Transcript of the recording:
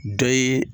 Dɔ ye